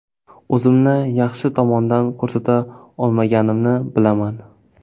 O‘zimni yaxshi tomondan ko‘rsata olmaganimni bilaman.